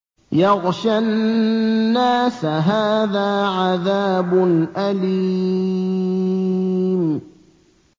يَغْشَى النَّاسَ ۖ هَٰذَا عَذَابٌ أَلِيمٌ